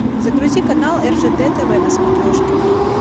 загрузи канал ржд тв на смотрешке